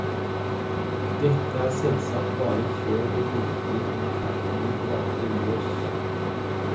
Dette er selvsagt bare før det virkelige infernoet braker løs.